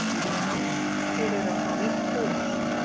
Þeir eru að fá nýtt hús.